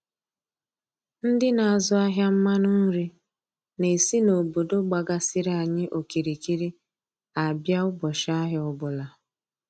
Ndị na-azụ ahịa mmanụ nri na-esi na obodo gbagasịrị anyị okirikiri a bịa ụbọchị ahịa ọbụla